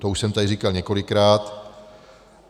To už jsem tady říkal několikrát.